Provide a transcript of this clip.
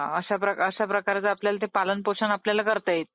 हां !! अश्या प्रकारच आपल्याला ते पालन पोषण आपल्याला करता येईल.